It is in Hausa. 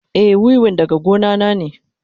Eh, wiwin daga gona na ne.